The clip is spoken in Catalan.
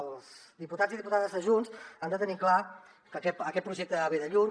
els diputats i diputades de junts han de tenir clar que aquest projecte ve de lluny